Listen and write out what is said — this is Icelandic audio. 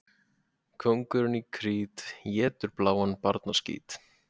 Kóngurinn í Krít étur bláan barnaskít.